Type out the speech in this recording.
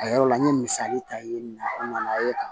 A yɔrɔ la n ye misali ta yen nana ye